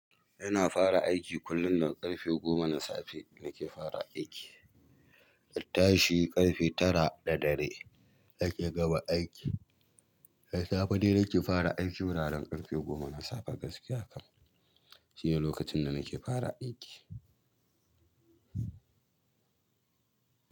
Ina fara aiki kullum nan ƙarfe goma na safe nake fara aiki, in tashi ƙarfe tara na dare nake gama aiki. Safe dai nake fara aiki wuraren ƙarfe goma na safe gaskiya kam shine lokacin da nake fara aiki.